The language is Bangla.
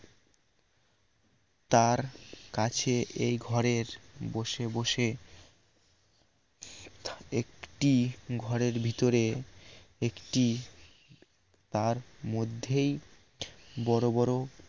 তার কাছে এই ঘরের বসে বসে একটি ঘরের ভিতরে একটি তার মধ্যেই বড় বড়